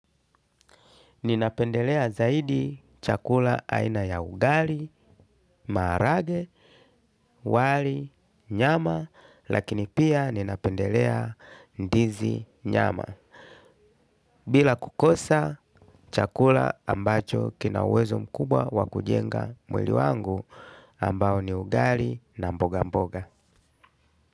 Ninapendelea zaidi chakula aina ya ugali, marage, wali, nyama, lakini pia ninapendelea ndizi nyama. Bila kukosa chakula ambacho kinawezo mkubwa wakujenga mwili wangu ambao ni ugali na mboga mboga.